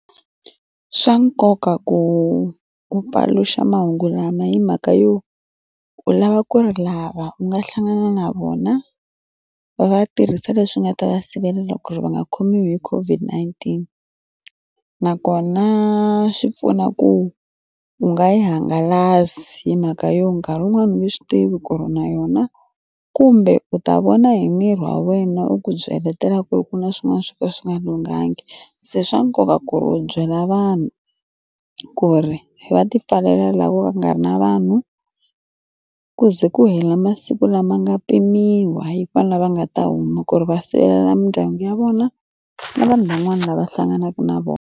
Swa nkoka ku ku paluxa mahungu lama hi mhaka yo u lava ku ri lava u nga hlangana na vona va va tirhisa leswi nga ta va sivelela ku ri va nga khomiwi hi COVID-19 nakona swi pfuna ku u nga yi hangalasi hi mhaka yo nkarhi wun'wani wu nge swi tivi ku ri na yona kumbe u ta vona hi miri wa wena u ku byeletela ku ri ku na swin'wana swo ka swi nga lunghanga se swa nkoka ku ri u byela vanhu ku ri hi va ti pfalela laha ku nga ri na vanhu ku ze ku hela masiku lama nga pimiwa hi vana va nga ta huma ku ri va sirhelela mindyangu ya vona na vanhu van'wana lava hlanganaka na vona.